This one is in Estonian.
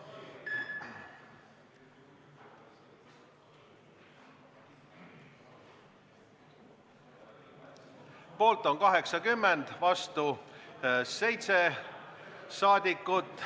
Hääletustulemused Poolt on 80, vastu 7 rahvasaadikut.